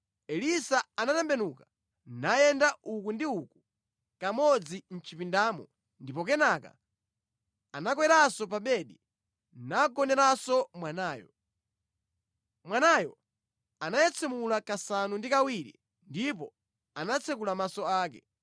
Elisa anatembenuka nayenda uku ndi uku kamodzi mʼchipindamo ndipo kenaka anakweranso pa bedi nagoneranso mwanayo. Mwanayo anayetsemula kasanu ndi kawiri ndipo anatsekula maso ake.